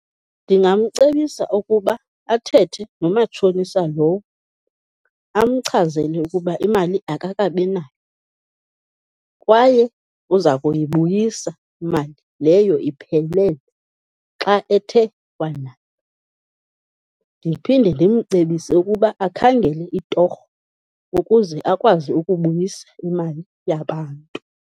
Ndingamcebisa ukuba athethe nomatshonisa lowo, amchazele ukuba imali akakabi nayo kwaye uza kuyibuyisa imali leyo iphelele xa ethe wanayo. Ndiphinde ndimcebise ukuba akhangele itorho ukuze akwazi ukubuyisa imali yabantu.